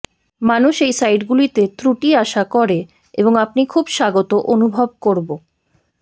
মানুষ এই সাইটগুলিতে ত্রুটি আশা করে এবং আপনি খুব স্বাগত অনুভব করব